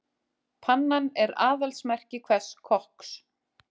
Pannan er aðalsmerki hvers kokks.